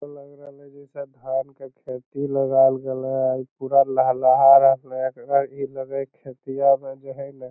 और लग रहले जैसे धान के खेती लगायल गइले और पूरा लहलहा रहले एकरा इ लगै खेतिया में जे हइना।